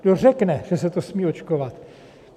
Kdo řekne, že se to smí očkovat?